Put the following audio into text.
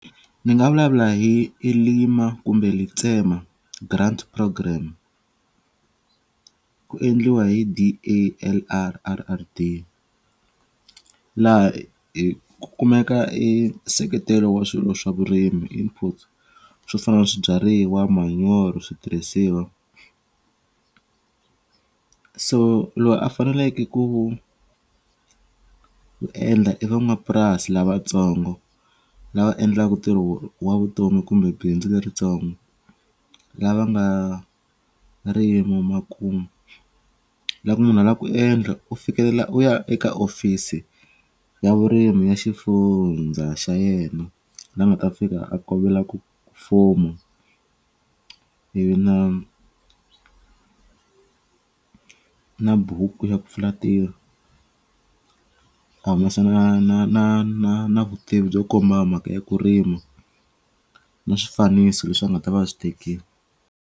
Ni nga vulavula hi hi lima kumbe Letsema grant programme ku endliwa hi D_A_L_R_R_D laha hi ku kumeka i nseketelo wa swilo swa vurimi input swo fana na swibyariwa manyoro switirhisiwa so loyi a faneleke ku ku endla i van'wapurasi lavatsongo lava endlaka tirho wa vutomi kumbe bindzu leritsongo lava nga rima makumu la munhu a la ku endla u fikelela u ya eka office ya vurimi ya xifundza xa yena la nga ta fika a kombela ku fomo i vi na na buku ya ku pfula tirho a humesa na na na na na vutivi byo komba mhaka ya ku rima na swifaniso leswi va nga ta va swi tekile.